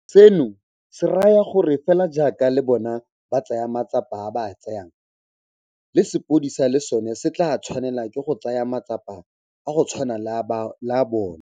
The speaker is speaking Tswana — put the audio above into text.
Seno se raya gore fela jaaka le bona ba tsaya matsapa a ba a tsayang, le sepodisi le sona se tla tshwanela ke go tsaya matsapa a go tshwana le a bona.